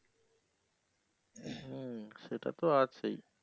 হ্যা সেটা তো আছেই।